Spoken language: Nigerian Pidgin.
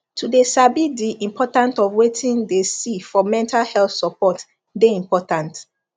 to de sabi de important of wetin de see for mental health support de important